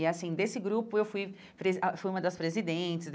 E, assim, desse grupo, eu fui fui uma das presidentes.